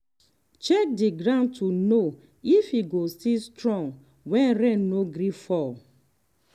check the ground to know if e go still strong when rain no gree fall.